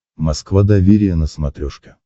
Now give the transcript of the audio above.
москва доверие на смотрешке